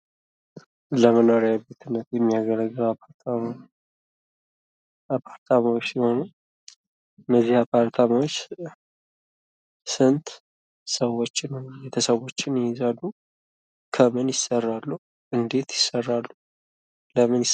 ለመኖሪያ ቤትነት የሚያገለግል አፓርታማ አፓርታማዎች ሲሆኑ እነዚህ አፓርታማዎች ስንት ሰዎችን ወይም ቤተሰቦችን ይይዛሉ? ከምን ይሰራሉ ?እንዴት ይሰራሉ? በምን ይሰራሉ?